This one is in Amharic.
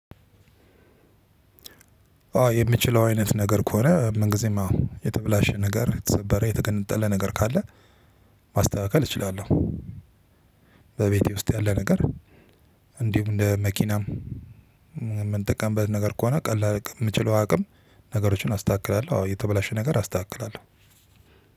አው የምችለው አይነት ነገር ከሆነ ምን ግዜም አው የተበላሸ ነገር የተሰበረ የተገነጠለ ነገር ካለ ማስተካከል እችላለሁ። በቤቴ ውስጥ ያለ ነገር እንዲሁም እንደ መኪናም የምንጠቀምበት ነገር ከሆነ ቀላል የምችለው አቅም ነገሮችን አስተካክላለሁ። አዎ የተበላሸ ነገር አስተካክላለሁ።